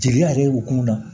Jeli yɛrɛ b'o kun na